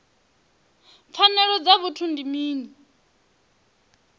pfanelo dza vhuthu ndi mini